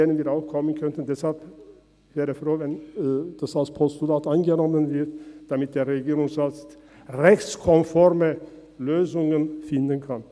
Deshalb wäre ich froh, dieses Anliegen würde als Postulat angenommen, damit der Regierungsrat rechtskonforme Lösungen finden kann.